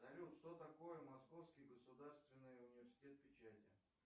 салют что такое московский государственный университет печати